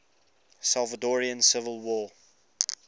salvadoran civil war